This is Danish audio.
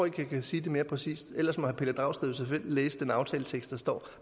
ikke jeg kan sige det mere præcist ellers må herre pelle dragsted jo selv læse den aftaletekst der står